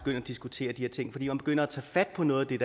at diskutere de her ting fordi man begynder at tage fat på noget af det